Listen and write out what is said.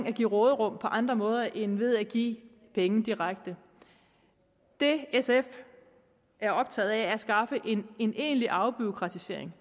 at give råderum på andre måder end ved at give penge direkte det sf er optaget af er at skaffe en egentlig afbureaukratisering